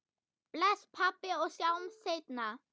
Bless, pabbi, og sjáumst seinna.